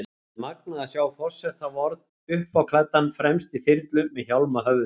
Það er magnað að sjá forseta vorn uppáklæddan, fremst í þyrlu, með hjálm á höfði.